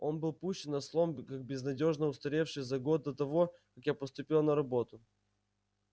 он был пущен на слом как безнадёжно устаревший за год до того как я поступила на работу